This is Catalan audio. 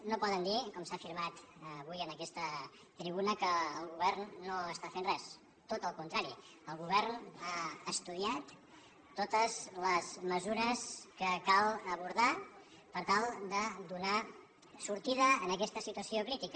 no poden dir com s’ha afirmat avui en aquesta tribuna que el govern no està fent res tot al contrari el govern ha estudiat totes les mesures que cal abordar per tal de donar sortida a aquesta situació crítica